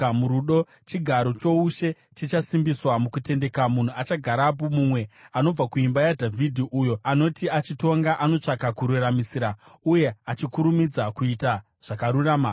Murudo, chigaro choushe chichasimbiswa; mukutendeka, munhu achagarapo, mumwe anobva kuimba yaDhavhidhi, uyo anoti achitonga anotsvaka kururamisira, uye achikurumidza kuita zvakarurama.